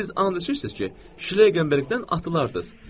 Siz and içirsiniz ki, şleykenbergdən atılardız.